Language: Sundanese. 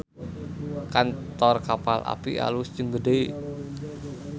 Kantor Kapal Api alus jeung gede